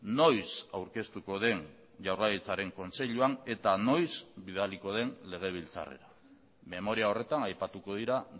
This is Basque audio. noiz aurkeztuko den jaurlaritzaren kontseiluan eta noiz bidaliko den legebiltzarrera memoria horretan aipatuko dira